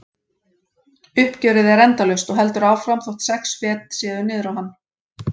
Uppgjörið er endalaust og heldur áfram þótt sex fet séu niður á hann.